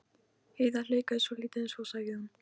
Heiða hikaði svolítið en svo sagði hún